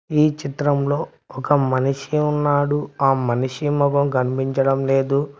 ఈ చిత్రంలో ఒక మనిషి ఉన్నాడు ఆ మనిషి మొఖం కనిపించడం లేదు.